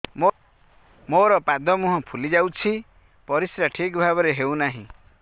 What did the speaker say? ମୋର ପାଦ ମୁହଁ ଫୁଲି ଯାଉଛି ପରିସ୍ରା ଠିକ୍ ଭାବରେ ହେଉନାହିଁ